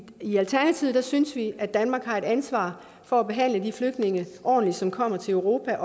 i alternativet synes vi at danmark har et ansvar for at behandle de flygtninge som kommer til europa